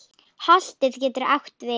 Holtið getur átt við